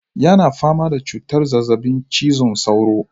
Yana fama da cutar zazzabin cizon sauro.